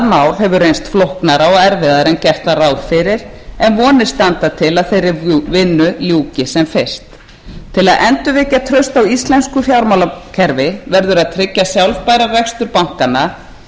mál hefur reynst flóknara og erfiðara en gert var ráð fyrir en vonir standa til að þeirri vinnu ljúki sem fyrst til að endurvekja traust á íslensku fjármálakerfi verður að tryggja sjálfbæran rekstur bankanna hugsanlega með